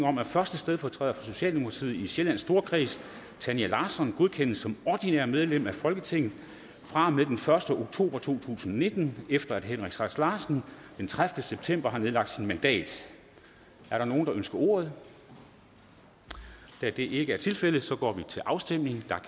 om at første stedfortræder for socialdemokratiet i sjællands storkreds tanja larsson godkendes som ordinært medlem af folketinget fra og med den første oktober to tusind og nitten efter at henrik sass larsen den tredivete september har nedlagt sit mandat er der nogen der ønsker ordet da det ikke er tilfældet går vi til afstemning